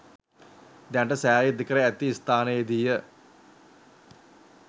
දැනට සෑය ඉදිකර ඇති ස්ථානයේදීය.